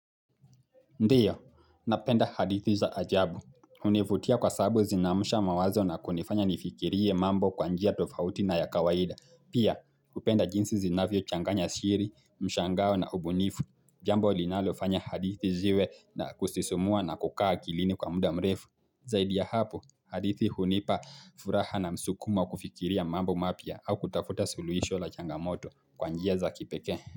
Ndiyo, napenda hadithi za ajabu, unifutia kwa sababu zinamusha mawazo na kunifanya nifikirie mambo kwanjia tofauti na ya kawaida, Pia kupenda jinsi zinavyo changanya shiri, mshangao na ubunifu, jambo linalofanya hadithi ziwe na kustisumua na kukaa akilini kwa muda mrefu, Zaidi ya hapo, hadithi hunipa furaha na msukuma kufikiria mambo mapia au kutafuta suluisho la changamoto kwanjia za kipeke.